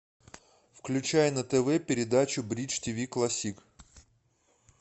включай на тв передачу бридж тиви классик